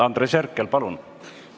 Andres Herkel, palun!